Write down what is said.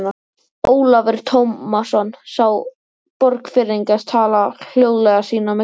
Ólafur Tómasson sá Borgfirðinga tala hljóðlega sín á milli.